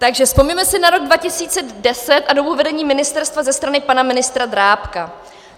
Takže vzpomeňme si na rok 2010 a dobu vedení ministerstva ze strany pana ministra Drábka.